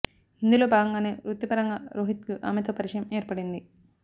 ఇందులో భాగంగానే వృత్తి పరంగా రోహిత్ కి ఆమెతో పరిచయం ఏర్పడింది